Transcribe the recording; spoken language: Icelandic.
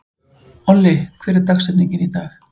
Olli, hver er dagsetningin í dag?